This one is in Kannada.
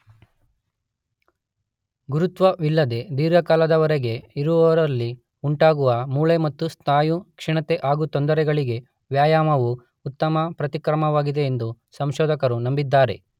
ಗುರುತ್ವವಿಲ್ಲದೆ ದೀರ್ಘಕಾಲದ ವರೆಗೆ ಇರುವವರಲ್ಲಿ ಉಂಟಾಗುವ ಮೂಳೆ ಮತ್ತು ಸ್ನಾಯು ಕ್ಷೀಣತೆಗೆ ಹಾಗು ತೊಂದರೆಗಳಿಗೆ ವ್ಯಾಯಾಮವು ಉತ್ತಮ ಪ್ರತಿಕ್ರಮವಾಗಿದೆ ಎಂದು ಸಂಶೋಧಕರು ನಂಬಿದ್ದಾರೆ.